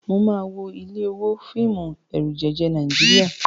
Mo máa wo ilé owó, fíìmù ẹ̀rùjẹ̀jẹ̀ Nàíjíríà.